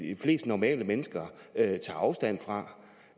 de fleste normale mennesker tager afstand fra